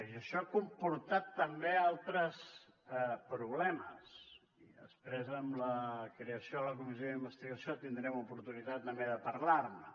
i això ha comportat també altres problemes i després amb la creació de la comissió d’investigació tindrem oportunitat també de parlar ne